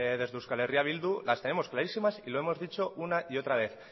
desde euskal herria bildu las tenemos clarísimas y lo hemos dicho una y otra vez